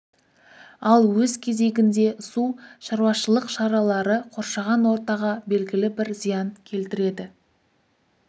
ал өз кезегінде су шаруашылық шаралары қоршаған ортаға белгілі бір зиян келтіреді